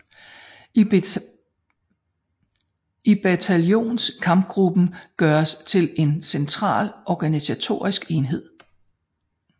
Bataljonskampgruppen gøres til en central organisatorisk enhed